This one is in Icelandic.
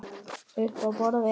Uppi á borði?